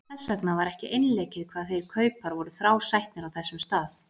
Þess vegna var ekki einleikið hvað þeir kaupar voru þrásætnir á þessum stað.